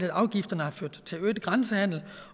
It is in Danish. at afgifterne har ført til øget grænsehandel